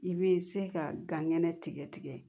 I bɛ se ka gan ŋɛnɛ tigɛ tigɛ